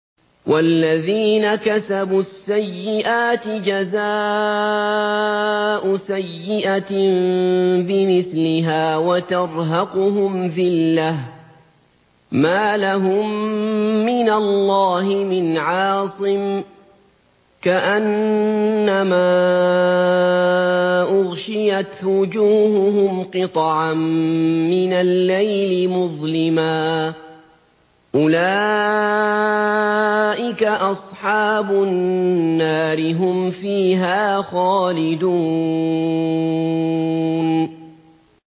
وَالَّذِينَ كَسَبُوا السَّيِّئَاتِ جَزَاءُ سَيِّئَةٍ بِمِثْلِهَا وَتَرْهَقُهُمْ ذِلَّةٌ ۖ مَّا لَهُم مِّنَ اللَّهِ مِنْ عَاصِمٍ ۖ كَأَنَّمَا أُغْشِيَتْ وُجُوهُهُمْ قِطَعًا مِّنَ اللَّيْلِ مُظْلِمًا ۚ أُولَٰئِكَ أَصْحَابُ النَّارِ ۖ هُمْ فِيهَا خَالِدُونَ